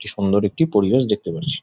সুন্দর একটি পরিবেশ দেখতে পারছি ।